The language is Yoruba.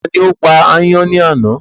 Tani ó pa ayán ní àná?